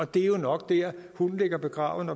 det er jo nok der hunden ligger begravet